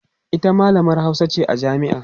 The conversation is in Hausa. ita mallamar Hausa ce a jami'a